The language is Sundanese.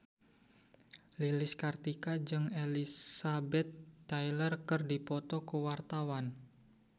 Lilis Karlina jeung Elizabeth Taylor keur dipoto ku wartawan